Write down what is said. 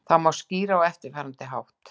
Þetta má skýra á eftirfarandi hátt.